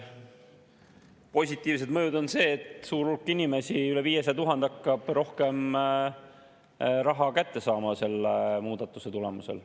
Positiivne mõju on see, et suur hulk inimesi – üle 500 000 – hakkab rohkem raha kätte saama selle muudatuse tulemusel.